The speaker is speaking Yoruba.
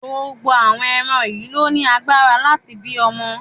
Gbogbo àwọn ẹran yìí ló ní agbára láti bí ọmọ.